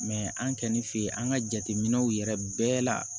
an kɛlen an ka jateminɛw yɛrɛ bɛɛ la